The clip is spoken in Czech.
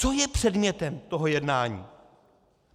Co je předmětem toho jednání?